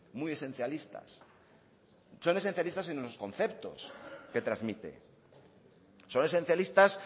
muy esencialistas son esencialistas en los conceptos que transmite son esencialistas